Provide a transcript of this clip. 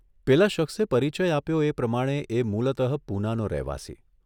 પેલા શખ્સે પરિચય આપ્યો એ પ્રમાણે એ મૂલતઃ પૂનાનો રહેવાસી.